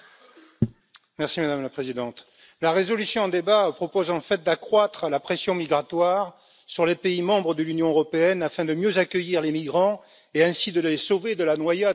Madame la Présidente, la résolution en débat propose en fait d'accroître la pression migratoire sur les États membres de l'Union européenne afin de mieux accueillir les migrants et, ainsi, de les sauver de la noyade en Méditerranée.